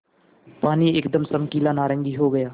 पानी एकदम चमकीला नारंगी हो गया